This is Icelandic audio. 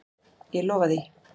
Ég lofa því.